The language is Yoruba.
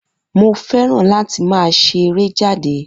Mo fẹ́ràn láti máa ṣe eré jáde